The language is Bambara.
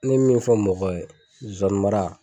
N mɛ min fɔ mɔgɔw ye zozani mara